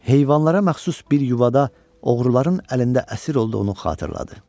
Heyvanlara məxsus bir yuvada oğruların əlində əsir olduğunu xatırladı.